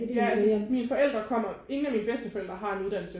Ja altså mine forældre kommer ingen af mine bedsteforældre har en uddannelse